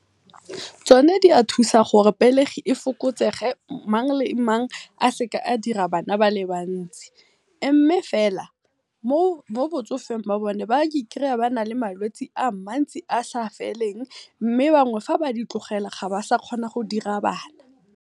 Tsone dia thusa gore pelegi e fokotsege mang le mang a seke a dira bana bale bantsi, mme fela mo botsofeng ba bone ba i kry-a ba na le malwetse a mantsi a sa feleng mme bangwe ga ba di tlogela ga ba sa kgona go ira bana.